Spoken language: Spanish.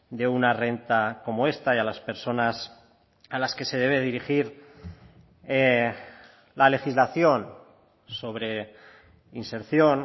de una renta como esta y a las personas a las que se debe dirigir la legislación sobre inserción